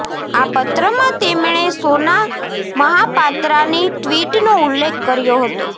આ પત્રમાં તેમણે સોના મહાપાત્રાની ટ્વીટનો ઉલ્લેખ કર્યો હતો